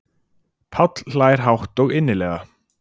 Páll hlær hátt og innilega.